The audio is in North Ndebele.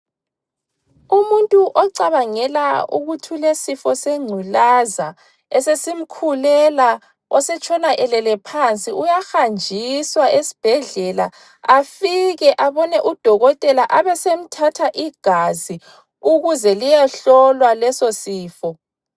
Umuntu ocabangela ukuthi ulesifo sengculaza esesimkhulela, osetshona elele phansi, uyahanjiswa esibhedlela afike abone udokotela abesemthatha igazi ukuze liyehlolwa leso sofo.